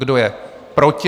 Kdo je proti?